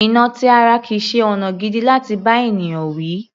Ìnà ti ara kìí ṣe ọ̀nà gidi láti bá ènìyàn wí.